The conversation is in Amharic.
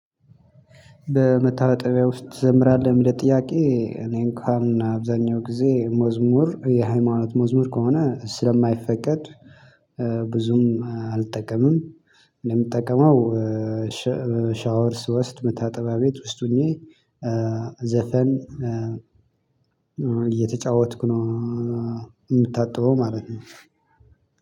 በመታወጥቢያ ውስጥ ትዘምራለሁ ለመጠየቅ ጥያቄ እኔኳን አብዛኛው ጊዜ መዝሙር የሃይማኖት መዝሙር ከሆነ ስለማይፈቀድ ብዙም አልጠቀምም። እንደምጠቀመው ሻወር ስውስድ መታጠቢያ ቤት ውስጥ ሆኜ ዘፈን እየተጫወትኩ ነው። የምታጥበው ማለት ነው።